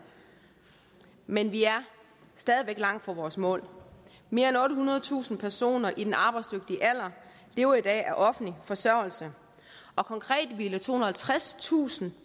men vi er stadig væk langt fra vores mål mere end ottehundredetusind personer i den arbejdsdygtige alder lever i dag af offentlig forsørgelse og konkret ville tohundrede og tredstusind